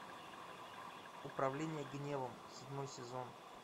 управление гневом седьмой сезон